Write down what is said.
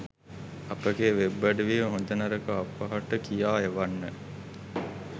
අපගේ වෙබ්අඩවියේ හොඳ නරක අපහට කියා එවන්න